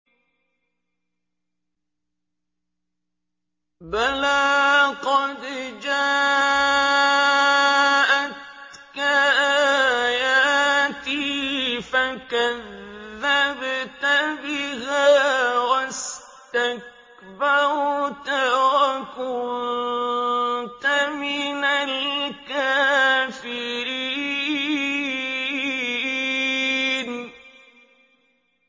بَلَىٰ قَدْ جَاءَتْكَ آيَاتِي فَكَذَّبْتَ بِهَا وَاسْتَكْبَرْتَ وَكُنتَ مِنَ الْكَافِرِينَ